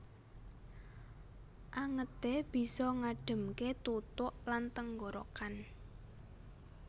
Angete bisa ngademke tutuk lan tenggorokan